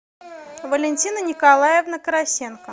валентина николаевна карасенко